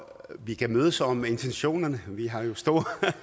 og vi kan mødes om intentionerne vi har jo stor